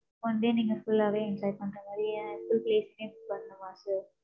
One day நீங்க full ஆவே enjoy பண்ற மாதிரி full place உமே book பண்ணுமா sir